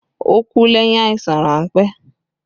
Ó kú lẹ́yìn àìsàn ránpẹ́